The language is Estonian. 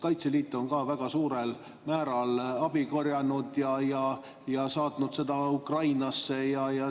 Kaitseliit on ka väga suurel määral abi korjanud ja saatnud Ukrainasse.